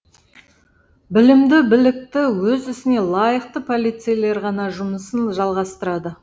білімді білікті өз ісіне лайықты полицейлер ғана жұмысын жалғастырады